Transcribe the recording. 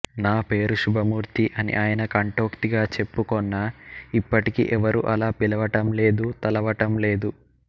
నా పేరు శుభమూర్తి అని ఆయన కంఠోక్తిగా చెప్పుకొన్నా ఇప్పటికీ ఎవరూ అలా పిలవటం లేదు తలవటం లేదు